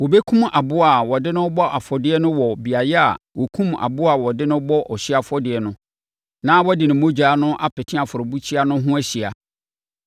Wɔbɛkum aboa a wɔde no rebɔ afɔdeɛ no wɔ beaeɛ a wɔkumm aboa a wɔde no bɔ ɔhyeɛ afɔdeɛ no na wɔde ne mogya no apete afɔrebukyia no ho ahyia.